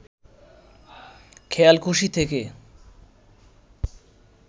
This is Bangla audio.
খেয়ালখুশি থেকে